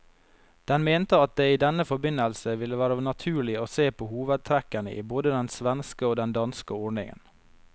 Den mente at det i denne forbindelse ville være naturlig å se på hovedtrekkene i både den svenske og den danske ordningen.